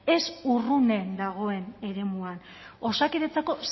ez urrunen dagoen eremuan osakidetzako